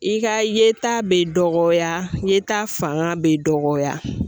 I ka ye ta bɛ dɔgɔya, ye ta fanga bɛ dɔgɔya.